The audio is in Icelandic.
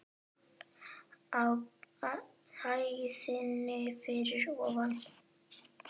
Á hæðinni fyrir ofan.